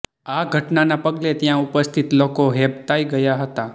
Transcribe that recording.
આ ઘટનાના પગલે ત્યાં ઉપસ્થિત લોકો હેબતાઈ ગયા હતા